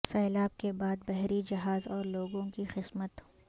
سیلاب کے بعد بحری جہاز اور لوگوں کی قسمت